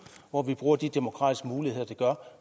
hvor man bruger de demokratiske muligheder